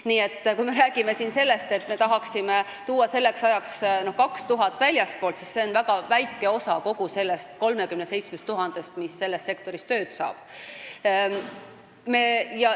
Nii et kui me räägime siin sellest, et me tahaksime tuua selleks ajaks 2000 spetsialisti väljastpoolt, siis see on väga väike osa sellest 37 000-st, kes selles sektoris tööd saavad.